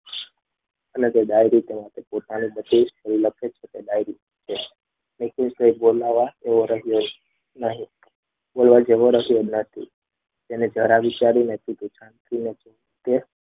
અને ડાયરી જે છે એમાં પોતાની બધી જ ડાયરી લખે છે નિકુંજ જેવો બોલાવવા જેવો રહ્યો નહીં.